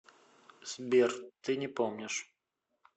сбер ты не помнишь